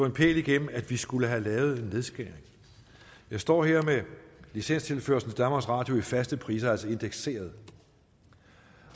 en pæl igennem at vi skulle have lavet en nedskæring jeg står her med licenstilførslen til danmarks radio i faste priser altså indekseret